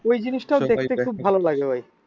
ঐ জিনিসটা ও দেখতে খুব ভালো লাগে।